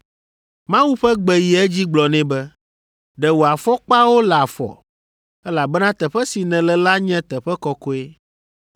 “Mawu ƒe gbe yi edzi gblɔ nɛ be, ‘Ɖe wò afɔkpawo le afɔ, elabena teƒe si nèle la nye teƒe kɔkɔe.